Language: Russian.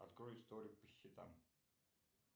открой историю по счетам